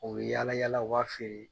O bɛ yaala yaala o b'a feere.